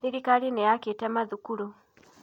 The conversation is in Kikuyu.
Thirikari nĩ yakĩte mathukuru.